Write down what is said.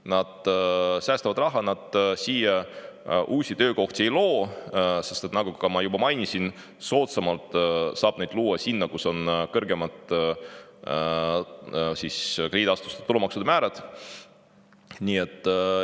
Nad säästavad raha, nad siia uusi töökohti ei loo, sest nagu ma juba mainisin, soodsamalt saab neid luua sinna, kus krediidiasutuste tulumaksumäärad on kõrgemad.